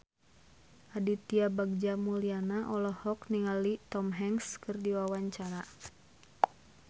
Aditya Bagja Mulyana olohok ningali Tom Hanks keur diwawancara